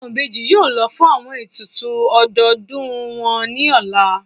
Awọn ibeji yóò lọ fun awọn etùtù ọdodùn wọn ni ọla.